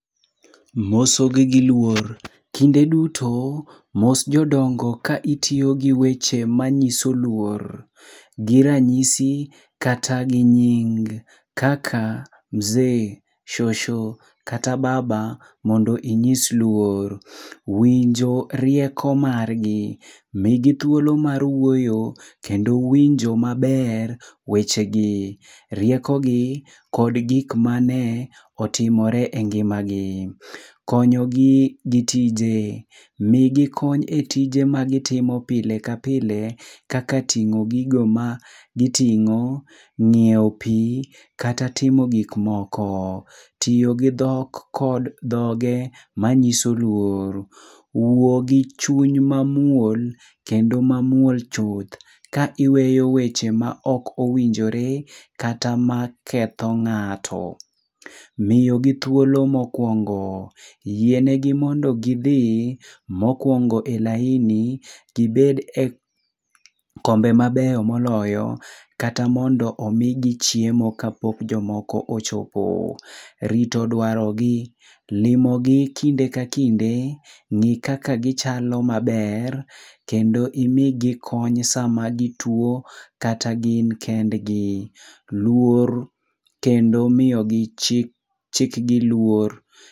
Mosogi gi luor, kinde duto mos jodongo ka itiyo gi weche manyiso luor, gi ranyisi kata gi nying, kaka mzee, shosho kata baba mondo inyis luor. Winjo rieko margi, migi thuolo mar wuoyo kendo winjo maber wechegi, rieko gi kod gik mane, otimore e ngimagi. Konyogi gi tije, migi kony e tije ma gitimo pile ka pile kaka ting'o gigo ma giting'o, ng'iew pi kata timo gik moko. Tiyo gi dhok kod dhoge manyiso luor. Wuo gi chuny mamuol kendo mamuol chuth, ka iweyo weche ma ok owinjore, kata maketho ng'ato. Miyogi thuolo mokwongo, yienegi mondo gidhi mokwongo e laini, gibed e kombe mabeyo moloyo kata mondo omi gichiemo kapok jomoko ochopo. Rito dwaro gi, limo gi kinde ka kinde, ng'i kaka gichalo maber, kendo imi gi kony sama gituo kata gin kendgi. Luor kendo miyogi chik chik giluor